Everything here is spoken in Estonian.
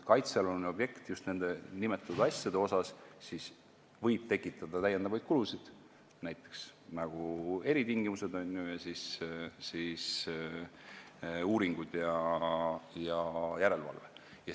Kaitsealune objekt võib just nende nimetatud asjade tegemisel tekitada täiendavaid kulusid, näiteks eritingimused ning uuringud ja järelevalve.